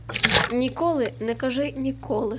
николы накажи николы